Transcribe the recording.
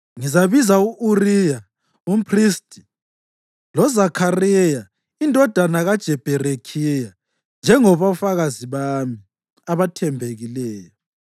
Ngizabiza u-Uriya umphristi loZakhariya indodana kaJebherekhiya njengabofakazi bami abathembekileyo.”